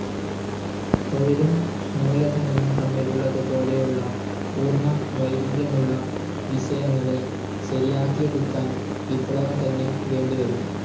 തൊഴിലും മൂലധനവും തമ്മിലുള്ളതു പോലെയുള്ള പൂർണ വൈരുദ്ധ്യമുള്ള വിഷയങ്ങളെ ശരിയാക്കിയെടുക്കാൻ വിപ്ലവം തന്നെ വേണ്ടിവരും.